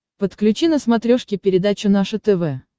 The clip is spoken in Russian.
подключи на смотрешке передачу наше тв